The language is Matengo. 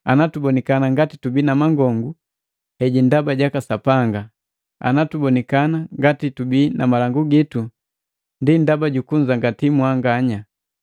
Ana tubonikana ngati tubii na mangongu heji ndaba jaka Sapanga, ana tubonikana ngati tubii na malangu gitu ndi ndaba jukunzangati mwanganya.